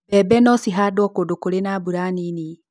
mbembe no cihandũo kũndũ kũri na mbura nini